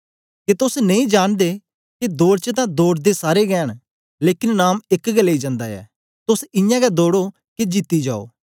के तोस नेई जांनदे के दौड़ च तां दौड़दे सारे गै न लेकन नाम एक गै लेई जंदा ऐ तोस इयां गै दौड़ो के जीती जायो